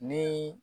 Ni